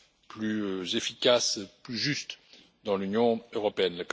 plus efficace et plus juste dans l'Union européenne.